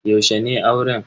Yaushe ne auren?